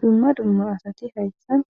dumma dummo asati hayssan